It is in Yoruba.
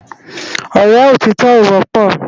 Òrè ótitò ó wòpò